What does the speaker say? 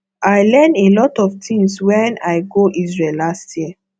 i learn a lot of things wen i go isreal last year